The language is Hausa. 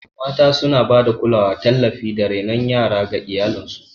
Mata suna ba da kulawa, tallafi, da renon yara ga iyalansu